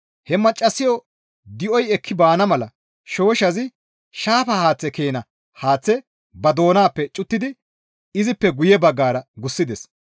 He Maccassayo di7oy ekki baana mala shooshshazi shaafa haaththe keena haaththe ba doonappe cuttidi izippe guye baggara gussides.